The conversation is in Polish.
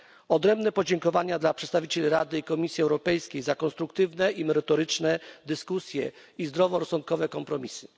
Odrębne podziękowania kieruję do przedstawicieli Rady i Komisji Europejskiej za konstruktywne i merytoryczne dyskusje i zdroworozsądkowe kompromisy.